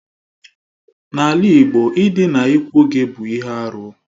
N'ala Igbo ịdịna ikwu gị bụ ihe arụ.